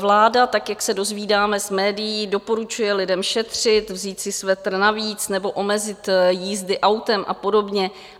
Vláda, tak jak se dozvídáme z médií, doporučuje lidem šetřit, vzít si svetr navíc nebo omezit jízdy autem a podobně.